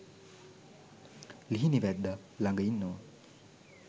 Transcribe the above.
ලිහිණි වැද්දා ළඟ ඉන්නවා